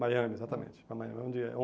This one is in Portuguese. Miami, exatamente.